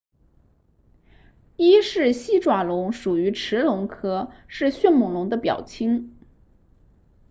伊氏西爪龙属于驰龙科是迅猛龙的表亲